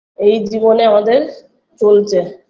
এই জীবনে আমাদের চলছে